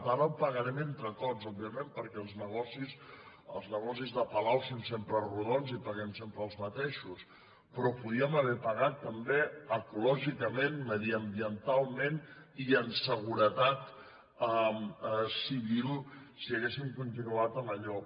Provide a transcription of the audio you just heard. ara ho pagarem entre tots òbviament perquè els negocis de palau són sempre rodons i paguem sempre els mateixos però ho podríem haver pagat també ecològicament mediambientalment i en seguretat civil si haguéssim continuat amb allò